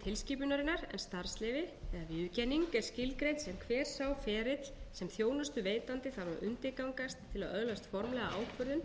tilskipunarinnar en starfsleyfi viðurkenning er skilgreint sem hver sá ferill sem þjónustuveitandi þarf að undirgangast til að öðlast formlega ákvörðun